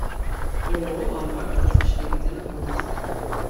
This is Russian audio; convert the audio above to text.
ооо ломбард двадцать четыре где находится